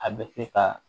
A bɛ se ka